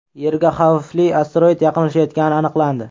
Yerga xavfli asteroid yaqinlashayotgani aniqlandi.